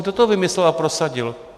Kdo to vymyslel a prosadil?